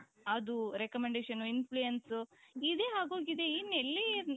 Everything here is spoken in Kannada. ಅದು recommendation, influence ಇದೇ ಆಗೋಗಿದೆ ಏನ್ ಎಲ್ಲೇ ಇರ್ಲಿ